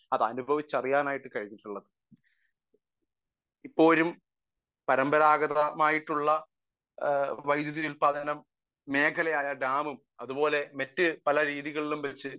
Speaker 1 അത് അനുഭവിച്ചു അറിയാനായിട്ടു കഴിഞ്ഞിട്ടുള്ളത് . ഇപ്പോഴും പാരമ്പരാഗതമായിട്ടുള്ള വൈദ്യുതി ഉത്പാദനം മേഖല ആയിട്ടുള്ള ഡാമും മറ്റു പല രീതികളും വച്ച്